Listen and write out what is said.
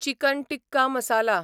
chicken tikka masala